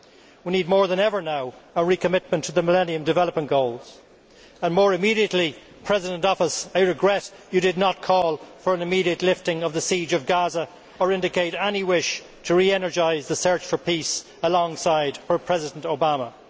We need, more than ever now, a recommitment to the Millennium Development Goals and, more immediately, Mr President in Office, I regret you did not call for an immediate lifting of the siege of Gaza or indicate any wish to re energise the search for peace alongside President Obama.